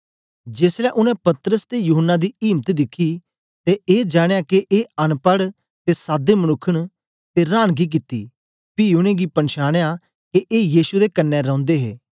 जेसलै उनै पतरस ते यूहन्ना दी इम्त दिखी ते ए जानया के ए अनपढ़ ते साधे मनुक्ख न ते रांनगी कित्ती पी उनेंगी पनछानया के ए यीशु दे कन्ने रौंदे हे